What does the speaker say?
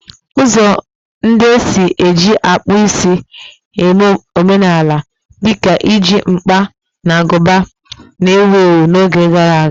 Ụzọ ndị e si eji akpụ akpụ eme omenala, dị ka iji mkpa na agụba, na-ewu ewu n'oge gara aga